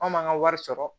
An m'an ka wari sɔrɔ